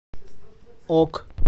ок